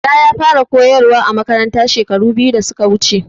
Bala ya fara a koyarwa a Makaranta shekaru biyu da suka wuce